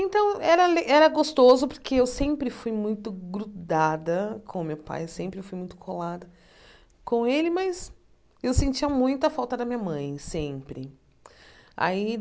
Então era le era gostoso porque eu sempre fui muito grudada com meu pai, sempre fui muito colada com ele, mas eu sentia muita falta da minha mãe, sempre. Aí